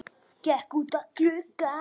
Gekk út að glugga.